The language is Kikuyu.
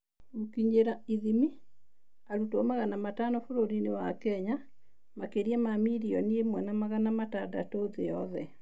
Gũkinyĩra / ithimi: Arutwo magana matano bũrũri-inĩ wa Kenya, makĩria ma milioni ĩmwe na magana matandatũ thĩ yothe.